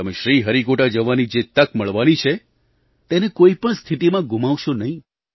તમે શ્રીહરિકોટા જવાની જે તક મળવાની છે તેને કોઈ પણ સ્થિતિમાં ગુમાવશો નહીં